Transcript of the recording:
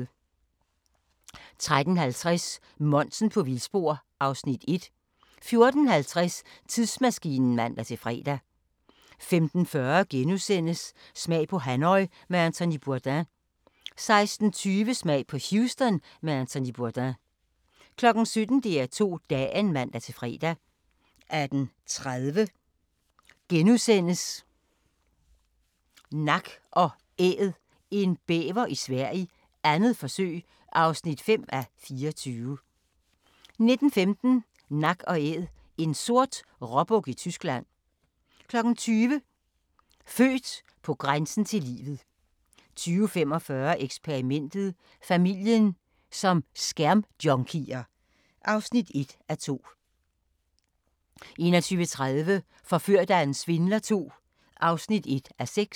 13:50: Monsen på vildspor (Afs. 1) 14:50: Tidsmaskinen (man-fre) 15:40: Smag på Hanoi med Anthony Bourdain * 16:20: Smag på Houston med Anthony Bourdain 17:00: DR2 Dagen (man-fre) 18:30: Nak & Æd – en bæver i Sverige, 2. forsøg (5:24)* 19:15: Nak & Æd – en sort råbuk i Tyskland 20:00: Født på grænsen til livet 20:45: Eksperimentet: Familien som skærmjunkier (1:2) 21:30: Forført af en svindler II (1:6)